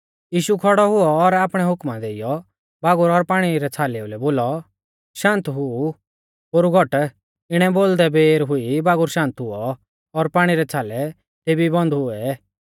यीशु खौड़ौ हुऔ और आपणै हुकमा देइयौ बागुर और पाणी रै छ़ालै लै बोलौ शान्त हुऊ पोरु घट इणै बोलदा बेर हुई बागुर शान्त हुऔ और पाणी रै छ़ालै तेभी ई बंद हुऐ